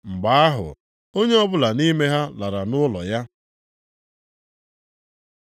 Mgbe ahụ, onye ọbụla nʼime ha lara nʼụlọ ya.